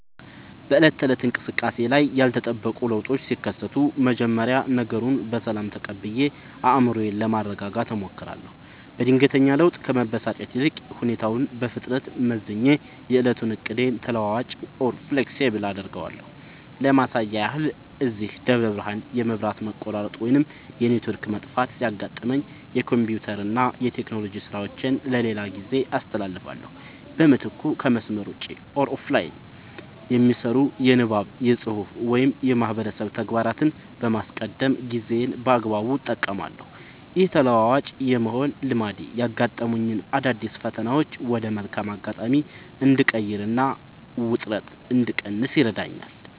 በዕለት ተዕለት እንቅስቃሴዬ ላይ ያልተጠበቁ ለውጦች ሲከሰቱ፣ መጀመሪያ ነገሩን በሰላም ተቀብዬ አእምሮዬን ለማረጋጋት እሞክራለሁ። በድንገተኛ ለውጥ ከመበሳጨት ይልቅ፣ ሁኔታውን በፍጥነት መዝኜ የዕለቱን ዕቅዴን ተለዋዋጭ (Flexible) አደርገዋለሁ። ለማሳያ ያህል፣ እዚህ ደብረ ብርሃን የመብራት መቆራረጥ ወይም የኔትወርክ መጥፋት ሲያጋጥመኝ፣ የኮምፒውተርና የቴክኖሎጂ ሥራዎቼን ለሌላ ጊዜ አስተላልፋለሁ። በምትኩ ከመስመር ውጭ (Offline) የሚሰሩ የንባብ፣ የፅሁፍ ወይም የማህበረሰብ ተግባራትን በማስቀደም ጊዜዬን በአግባቡ እጠቀማለሁ። ይህ ተለዋዋጭ የመሆን ልማዴ ያጋጠሙኝን አዳዲስ ፈተናዎች ወደ መልካም አጋጣሚ እንድቀይርና ውጥረት እንድቀንስ ይረዳኛል።